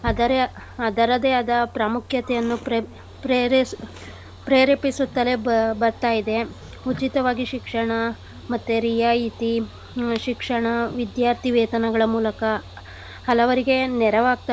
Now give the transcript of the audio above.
ಅದರೆ ಅದರದೇ ಆದ ಪ್ರಾಮುಖ್ಯತೆಯನ್ನು ಪ್ರೇ~ ಪ್ರೇರೇ~ ಪ್ರೇರೇಪಿಸುತ್ತಲೇ ಬ~ ಬರ್ತಾ ಇದೆ. ಉಚಿತವಾಗಿ ಶಿಕ್ಷಣ ಮತ್ತೆ ರಿಯಾಯತಿ ಹ್ಮ್ ಶಿಕ್ಷಣ ವಿದ್ಯಾರ್ಥಿವೇತನಗಳ ಮೂಲಕ ಹಲವರಿಗೆ ನೆರವಾಗ್ತಾ.